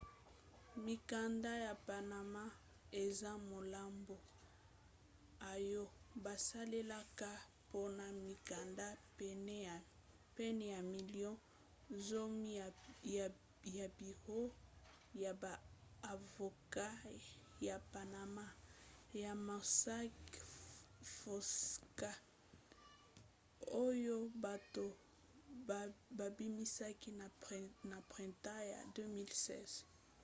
mikanda ya panama eza maloba oyo basalelaka mpona mikanda pene ya milio zomi ya biro ya ba avoka ya panama ya mossack fonseca oyo bato babimisaki na printemps ya 2016